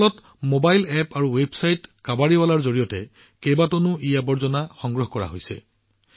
এটা mobile app আৰু website কাবাড়িৱালাৰ জৰিয়তে ভূপালত টন টন ইআৱৰ্জনা সংগ্ৰহ কৰা হৈছে